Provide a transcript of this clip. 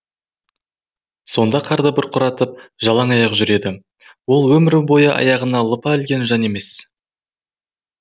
сонда қарды бұрқыратып жалаң аяқ жүреді ол өмір бойы аяғына лыпа ілген жан емес